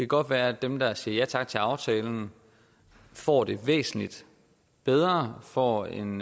godt være at dem der siger ja tak til aftalen får det væsentlig bedre får en